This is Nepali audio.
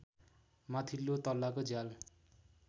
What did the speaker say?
माथिल्लो तलाको झ्याल